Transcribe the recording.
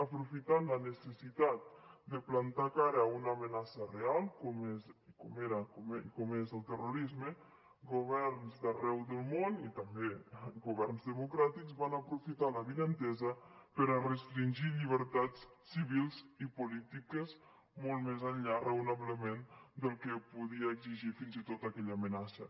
aprofitant la necessitat de plantar cara a una amenaça real com era com és el terrorisme governs d’arreu del món i també governs democràtics van aprofitar l’avinentesa per restringir llibertats civils i polítiques molt més enllà raonablement del que podia exigir fins i tot aquella amenaça